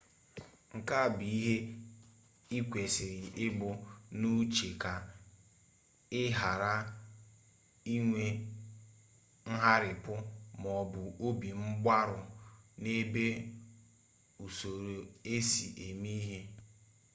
nke a bụ ihe ikwesịrị ibu n'uche ka ị ghara inwe ngharịpụ maọbụ obi mgbarụ n'ebe usoro esi eme ihe dị